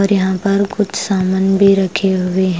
और यहां पर कुछ सामान भी रखे हुए है ।